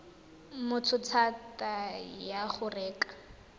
motho thata ya go reka